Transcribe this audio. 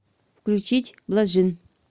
включить блажин